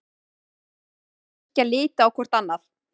Andri og Bylgja litu hvort á annað.